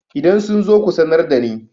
idan sun zo ku sanar da ni?